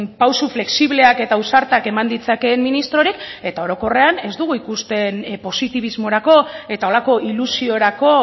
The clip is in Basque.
pauso flexibleak eta ausartak eman ditzakeen ministrorik eta orokorrean ez dugu ikusten positibismorako eta holako ilusiorako